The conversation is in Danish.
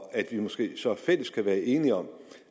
at vi måske så i fællesskab kan være enige om